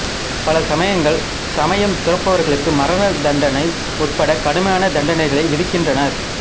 பல சமயங்கள் சமயம் துறப்பவர்களுக்கு மரண தண்டனை உட்பட்ட கடுமையான தண்டனைகளை விதிக்கின்றன